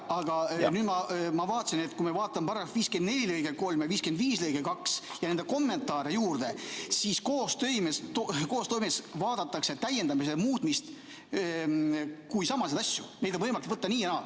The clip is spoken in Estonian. Aga nüüd ma vaatasin, et kui me vaatame § 54 lõiget 3 ja § 55 lõiget 2 ja nende kommentaare juurde, siis koostoimes vaadatakse täiendamist ja muutmist kui samasid asju, neid on võimalik võtta nii ja naa.